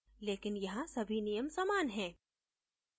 लेकिन यहां सभी नियम समान है